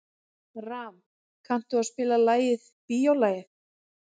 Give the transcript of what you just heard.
Ram, kanntu að spila lagið „Bíólagið“?